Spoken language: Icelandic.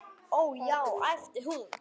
Ó, já, æpti hún.